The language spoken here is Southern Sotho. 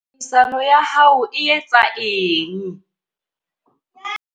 Tlhodisano ya hao e etsa eng?